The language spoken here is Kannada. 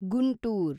ಗುಂಟೂರ್